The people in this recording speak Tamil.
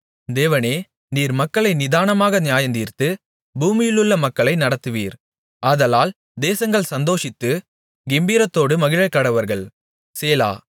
தேவனே நீர் மக்களை நிதானமாக நியாயந்தீர்த்து பூமியிலுள்ள மக்களை நடத்துவீர் ஆதலால் தேசங்கள் சந்தோஷித்து கெம்பீரத்தோடு மகிழக்கடவர்கள் சேலா